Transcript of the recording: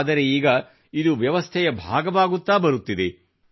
ಆದರೆ ಈಗ ಇದು ವ್ಯವಸ್ಥೆಯ ಭಾಗವಾಗುತ್ತಾ ಬರುತ್ತಿದೆ